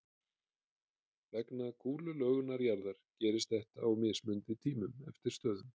Vegna kúlulögunar jarðar gerist þetta á mismunandi tímum eftir stöðum.